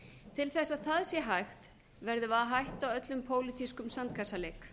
til þess að það sé hægt verðum við að hætta öllum pólitískum sandkassaleik